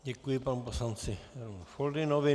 Děkuji panu poslanci Foldynovi.